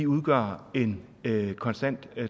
udgør en konstant